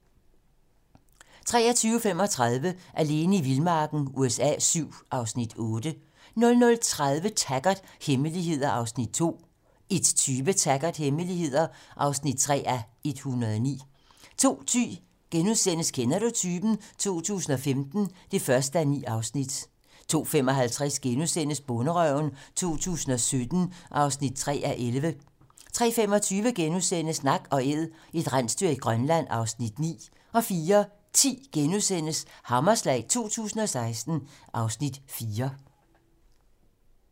23:35: Alene i vildmarken USA VII (Afs. 8) 00:30: Taggart: Hemmeligheder (2:109) 01:20: Taggart: Hemmeligheder (3:109) 02:10: Kender du typen? 2015 (1:9)* 02:55: Bonderøven 2017 (3:11)* 03:25: Nak & Æd - et rensdyr i Grønland (Afs. 9)* 04:10: Hammerslag 2016 (Afs. 4)*